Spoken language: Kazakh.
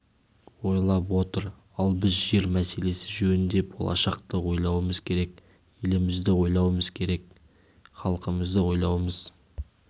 ойлап отыр ал біз жер мәселесі жөнінде болашақты ойлауымыз керек елімізді ойлауымыз керек халқымызды ойлауымыз